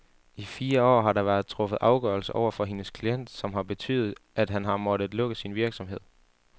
I fire år har der været truffet afgørelser over for hendes klient, som har betydet, at han har måttet lukke sin virksomhed.